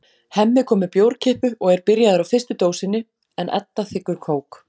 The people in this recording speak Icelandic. Hemmi kom með bjórkippu og er byrjaður á fyrstu dósinni en Edda þiggur kók.